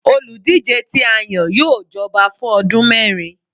olúdijé ti a yan, yóò jọba fun ọdun mẹrin